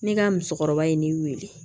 Ne ka musokɔrɔba ye ne wele